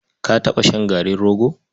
Ka taɓa shan garin rogo?